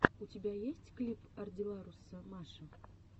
у тебя есть клип ардилларуса маша